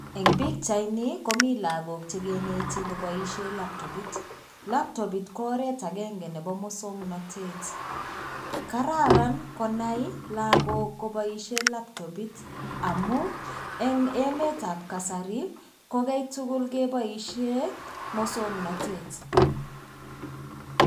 Eng' pikchaini komii lagook chekeneti koboishe laptopit. Laptobit kooret agenge nebo muswang'nated, Kararan konai lagook kaboishe laptoit amuu eng emetab kasari ko kaitugul keboishe muswang'nated.